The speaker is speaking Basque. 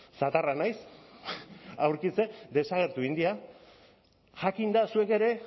zatarra naiz aurkitzeko desagertu egin dira jakinda zuek ere